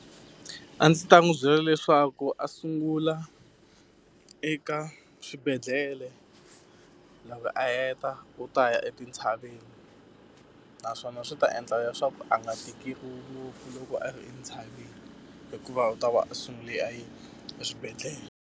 A ndzi ta n'wi byela leswaku a sungula eka swibedhlele, loko a heta u ta ya etintshaveni. Naswona swi ta endla leswaku a nga tikeriwi ngopfu loko a ri entshaveni, hikuva u ta va a sungule a yi eswibedhlele.